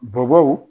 Bɔbɔw